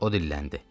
o dilləndi: